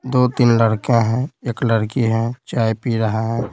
दो-तीन लड़के हैं एक लड़की है चाय पी रहा है।